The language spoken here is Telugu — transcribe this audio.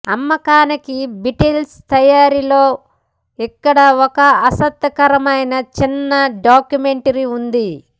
అమ్మకానికి బీటిల్స్ తయారీలో ఇక్కడ ఒక ఆసక్తికరమైన చిన్న డాక్యుమెంటరీ ఉంది